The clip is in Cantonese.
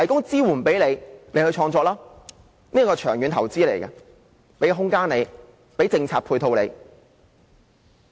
這是一項長遠投資，提供空間及政策配套。